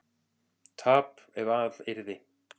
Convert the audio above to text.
tap ef að yrði